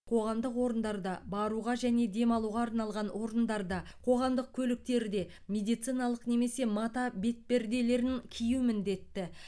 қоғамдық орындарда баруға және демалуға арналған орындарда қоғамдық көліктерде медициналық немесе мата бетперделерін кию міндетті